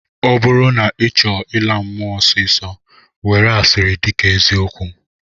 Ọ bụrụ na ị chọọ ịla mmụọ ọsịịsọ, were asịrị dịka eziokwu